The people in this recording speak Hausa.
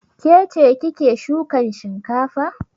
Ke ce kike shukan shinkafa?